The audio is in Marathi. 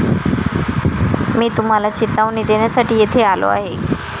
मी तुम्हाला चेतावणी देण्यासाठी येथे आलो आहे.